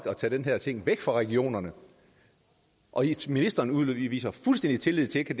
at tage den her ting væk fra regionerne og ministeren udviser fuldstændig tillid til